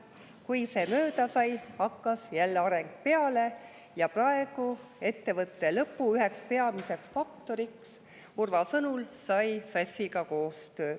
Kui see mööda sai, hakkas jälle areng peale ja praegu ettevõtte lõpu üheks peamiseks faktoriks sai Urva sõnul koostöö SAS-iga.